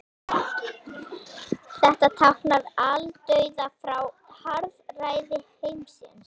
Ég einbeiti mér að rósinni sem hann kom með.